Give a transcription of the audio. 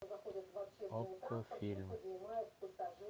окко фильм